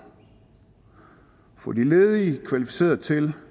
få de ledige kvalificeret til